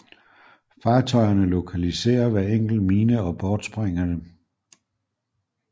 Fartøjerne lokaliserer hver enkelt mine og bortsprænger dem